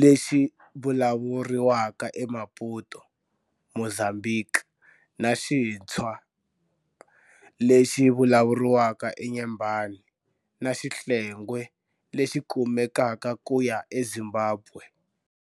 lexi vulavuriwaka eMaputo, Mozambiki, na Xitshwa, Tswa, lexi vulavuriwaka eNyembane, na Xihlengwe lexi kumekaka kuya eZimbabwe.